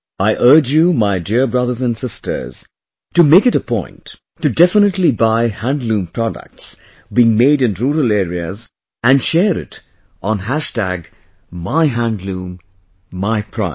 I urge you my dear brothers and sisters, to make it a point to definitely buy Handloom products being made in rural areas and share it on MyHandloomMyPride